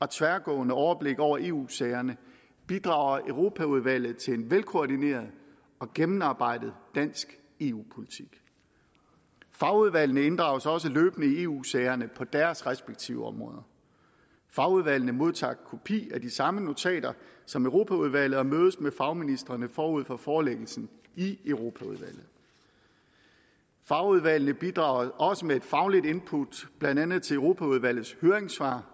og tværgående overblik over eu sagerne bidrager europaudvalget til en velkoordineret og gennemarbejdet dansk eu politik fagudvalgene inddrages også løbende i eu sagerne på deres respektive områder fagudvalgene modtager kopi af de samme notater som europaudvalget får og mødes med fagministrene forud for forelæggelsen i europaudvalget fagudvalgene bidrager også med faglige input blandt andet til europaudvalgets høringssvar